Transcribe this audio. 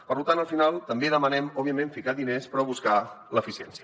per tant al final també demanem òbviament ficar diners però buscar l’eficiència